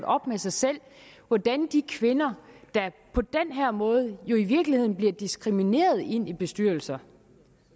op med sig selv hvordan de kvinder der på den her måde jo i virkeligheden bliver diskrimineret ind i bestyrelser